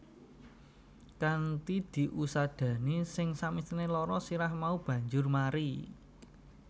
Kanthi diusadani sing samesthine lara sirah mau banjur mari